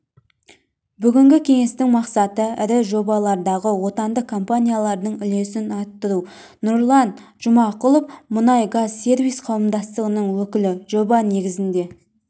бүгінгі кеңестің мақсаты ірі жобалардағы отандық компаниялардың үлесін арттыру нұрлан жұмағұлов мұнайгазсервис қауымдастығының өкілі жоба негізінде